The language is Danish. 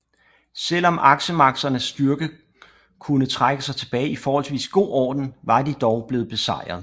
Selv om aksemagternes styrke kunne trække sig tilbage i forholdsvis god orden var de dog blevet besejret